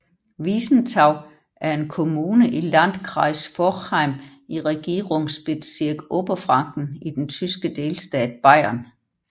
Wiesenthau er en kommune i Landkreis Forchheim i Regierungsbezirk Oberfranken i den tyske delstat Bayern